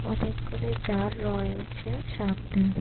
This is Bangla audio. অনেকগুলি জার রয়েছে সামনে।